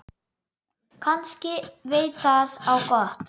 Kannski veit það á gott.